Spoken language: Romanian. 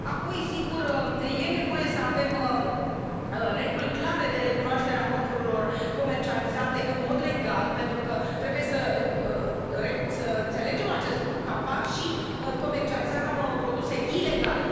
Apoi, sigur, este nevoie să avem reguli clare de recunoaștere a mărfurilor comercializate în mod legal, pentru că trebuie să înțelegem că apare și comercializarea unor produse ilegale.